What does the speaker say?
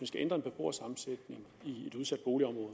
skal ændre en beboersammensætning i et udsat boligområde